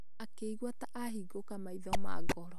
Akĩigua ta ahingũka maitho ma ngoro